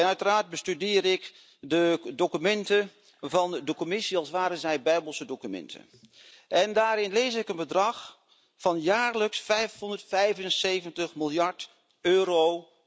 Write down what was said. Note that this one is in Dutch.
Uiteraard bestudeer ik de documenten van de Commissie als waren zij Bijbelse documenten, en daarin lees ik een bedrag van jaarlijks 575 miljard euro.